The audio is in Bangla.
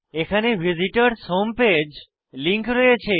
এখানে ভিসিটরস হোম পেজ লিঙ্ক রয়েছে